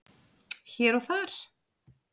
Hér og þar